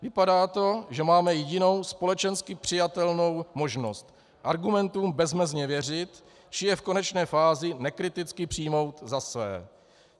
Vypadá to, že máme jedinou společensky přijatelnou možnost - argumentům bezmezně věřit či je v konečné fázi nekriticky přijmout za své.